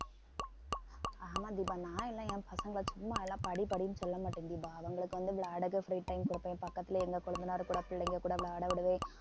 ஆமா தீபா நான் எல்லாம் என் பசங்க சும்மா எல்லாம் படி படின்னு சொல்ல மாட்டேன் தீபா அவங்களுக்கு வந்து விளையாட free time கொடுப்பேன் பக்கத்துலயே எங்க கொழுந்தனார் கூட பிள்ளைங்க கூட விளையாட விடுவேன்